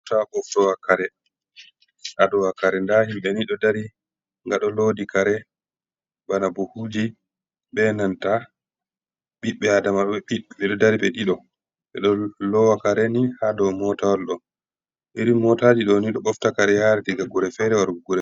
Mota ɓoftowa kare, adowa kare nda himbe ni ɗo dari ngaɗo lodi kare bana buhuji be nanta ɓiɓbe adama ɓeɗo dari ɓe ɗiɗo ɓeɗo lowa kareni ha do mota wal ɗo iri motaji ɗoni ɗo bofta kare yara diga gure fere warugo gure fere.